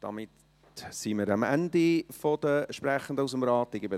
Damit sind wir am Ende der Sprechenden aus dem Rat.